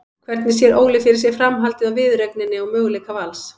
Hvernig sér Óli fyrir sér framhaldið á viðureigninni og möguleika Vals?